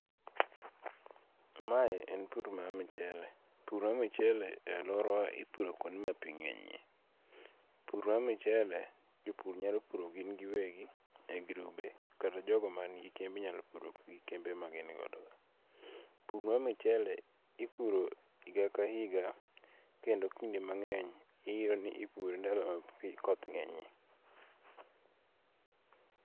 Mae en pur mar michele, pur mar michele e aluorawa iopur kuonde ma pi nge'nyie, pur mar michele, jopur nyalo pur gingiwegi , e grube, kata jogo manigi kemb nyalo puro gi kembe ma gin godogo, pur mar michele ipure higa ka higa kendo kinde mangeny iyudo ni ipure ndalo ma koth nge'nye.